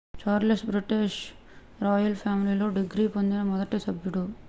Charles British royal ఫ్యామిలీలో degree పొందిన మొదటి సభ్యుడు